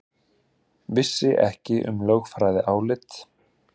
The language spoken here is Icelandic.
Vissi ekki um lögfræðiálit